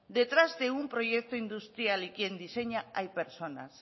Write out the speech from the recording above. detrás de un proyecto industrial y quien diseña hay personas